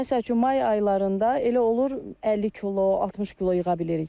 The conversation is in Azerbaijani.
Məsəl üçün, may aylarında elə olur 50 kilo, 60 kilo yığa bilirik.